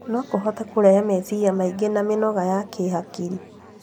No kũhote kũrehe meciria maingĩ na mĩnoga ya kĩhakiri.